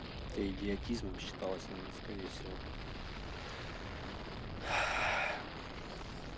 это идиотизмом считалось наверно скорее всего